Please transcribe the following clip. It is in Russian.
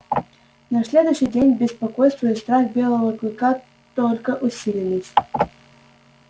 на следующий день беспокойство и страх белого клыка только усилились